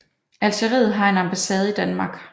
Algeriet har en ambassade i Danmark